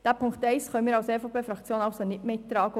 Den Punkt 1 können wir als EVP-Fraktion nicht mittragen.